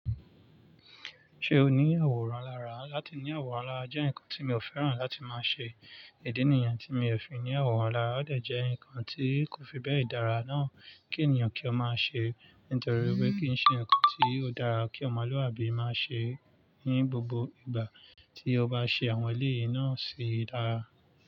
Ṣé o ní àwòrán lára? Lati ní àwòrán lára jẹ́ ǹkan tí mi ò fẹ́ràn láti máa ṣe. Ìdí nìyẹn tí mi ò fi ní àwòrán lára, ó dẹ̀ jẹ́ ǹkan tí kò fi bẹ́ẹ̀ dára náà kí ènìyàn kí ó máa ṣe nítorí wípé kín ṣe ǹkan tí ó dára kí ọmọlúàbí máa ṣe ní gbogbo ìgbà tí ó bá ṣe àwọn eléyìí náà ṣi dára.